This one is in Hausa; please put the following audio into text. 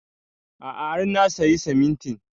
A'a har na sayi simintin